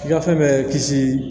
Gafe bɛ kisi